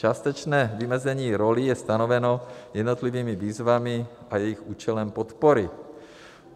Částečné vymezení rolí je stanoveno jednotlivými výzvami a jejich účelem podpory.